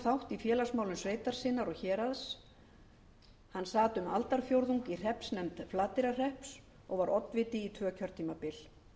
þátt í félagsmálum sveitar sinnar og héraðs hann sat um aldarfjórðung í hreppsnefnd flateyrarhrepps og var oddviti tvö kjörtímabil